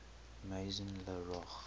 maison la roche